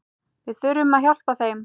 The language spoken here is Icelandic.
Við þurfum að hjálpa þeim.